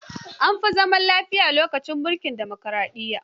An fi samu zaman lafiya lokacin mulkin dimokaraɗiyya.